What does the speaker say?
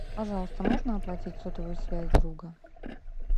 пожалуйста можно оплатить сотовую связь друга